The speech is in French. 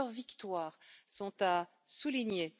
Plusieurs victoires sont à souligner.